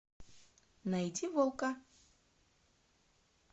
найди волка